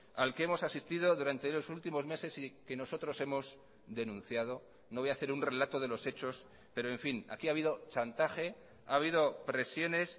al que hemos asistido durante los últimos meses y que nosotros hemos denunciado no voy a hacer un relato de los hechos pero en fin aquí ha habido chantaje a habido presiones